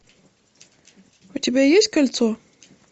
у тебя есть кольцо